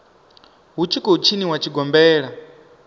hu tshi khou tshiniwa tshigombela